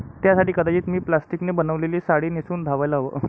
त्यासाठी कदाचित मी प्लास्टिकने बनवलेली साडी नेसून धावायला हवं'.